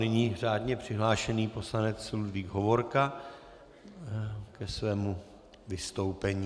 Nyní řádně přihlášený poslanec Ludvík Hovorka ke svému vystoupení.